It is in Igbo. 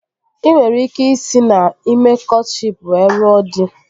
Ị nwere ike isi na ime kọtshịp were lụọ dị